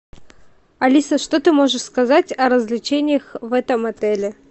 алиса что ты можешь сказать о развлечениях в этом отеле